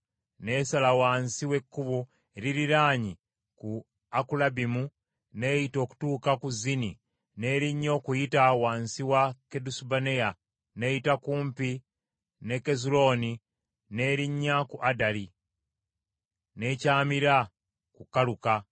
n’esala wansi w’ekkubo eririnnya ku Akkulabimu n’eyita okutuuka ku Zini n’erinnya okuyita wansi wa Kadesubanea, n’eyita kumpi ne Kezulooni, n’erinnya ku Addali, n’ekyamira ku Kaluka;